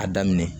A daminɛ